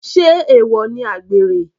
Sé èwọ̀ ni àgbèrè?